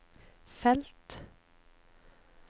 felt